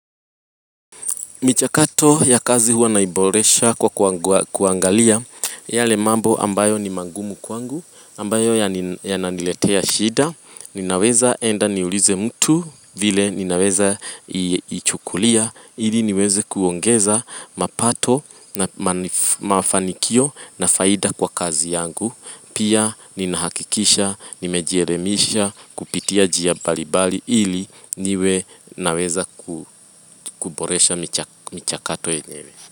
Michakato ya kazi huwa naiboresha kwa kuangalia, yale mambo ambayo ni mangumu kwangu, ambayo ya naniletea shida, ninaweza enda niulize mtu, vile ninaweza ichukulia, ili niweze kuongeza mapato na mafanikio na faida kwa kazi yangu. Pia ninahakikisha, nimejeremisha kupitia jia balibali ili niwe naweza kuboresha michakato enyewe.